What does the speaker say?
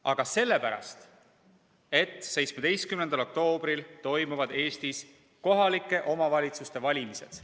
Aga sellepärast, et 17. oktoobril toimuvad Eestis kohalike omavalitsuste valimised.